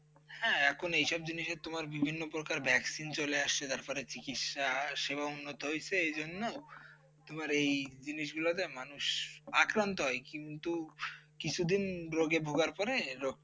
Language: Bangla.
হ্যাঁ, এখন এ সব জিনিস তোমার বিভিন্ন প্রকার vaccine চলে আসছে। তারপরে চিকিৎসাসেবা উন্নত হয়েছে। এইজন্য তোমার এই জিনিসগুলোতে মানুষ আক্রান্ত হয়। কিন্তু কিছুদিন রোগে ভোগার পরে রোগ